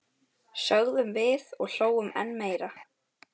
sögðum við og hlógum enn meira.